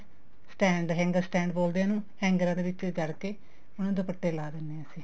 stand hanger stand ਬੋਲਦੇ ਹੈ ਉਹਨੂੰ ਹੰਗੇਰਾ ਦੇ ਵਿੱਚ ਕਰਕੇ ਉਹਨੂੰ ਨੂੰ ਦੁਪੱਟੇ ਲਾਹ ਦਿੰਨੇ ਹਾਂ ਅਸੀਂ